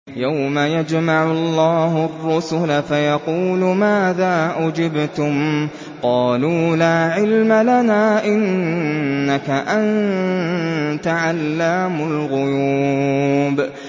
۞ يَوْمَ يَجْمَعُ اللَّهُ الرُّسُلَ فَيَقُولُ مَاذَا أُجِبْتُمْ ۖ قَالُوا لَا عِلْمَ لَنَا ۖ إِنَّكَ أَنتَ عَلَّامُ الْغُيُوبِ